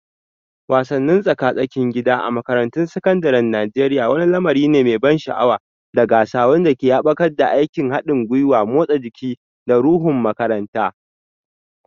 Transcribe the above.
Wasannin tsaka-tsakin gida a makarantun sakandaren Najeriya wani lamari ne mai ban sha'awa da gasa wanda ke haɓaka aikin haɗin gwiwa, motsa jiki, da ruhun makaranta.